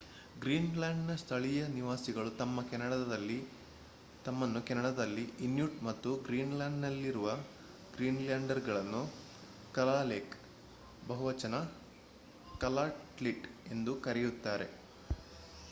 ಗ್ರೀನ್‌ಲ್ಯಾಂಡ್‌ನ ಸ್ಥಳೀಯ ನಿವಾಸಿಗಳು ತಮ್ಮನ್ನು ಕೆನಡಾದಲ್ಲಿ ಇನ್ಯೂಟ್ ಮತ್ತು ಗ್ರೀನ್‌ಲ್ಯಾಂಡ್‌ನಲ್ಲಿರುವ ಗ್ರೀನ್‌ಲ್ಯಾಂಡರ್‌ನ್ನು ಕಲಾಲೆಕ್ ಬಹುವಚನ ಕಲಾಲ್ಲಿಟ್ ಎಂದು ಕರೆಯುತ್ತಾರೆ